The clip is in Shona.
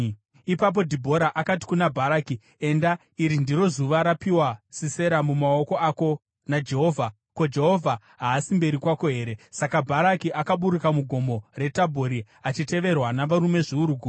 Ipapo Dhibhora akati kuna Bharaki, “Enda! Iri ndiro zuva rapiwa Sisera mumaoko ako naJehovha. Ko, Jehovha haasi mberi kwako here?” Saka Bharaki akaburuka muGomo reTabhori, achiteverwa navarume zviuru gumi.